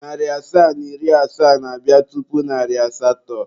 Narị asaa na iri asaa na-abịa tupu narị asatọ.